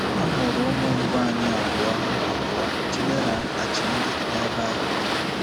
A mụrụ ụmụ mbụ anyị abụọ, abụọ, Chidera and Chimdi, nebe ahụ.